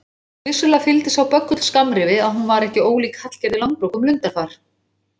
Vissulega fylgdi sá böggull skammrifi að hún var ekki ólík Hallgerði Langbrók um lundarfar.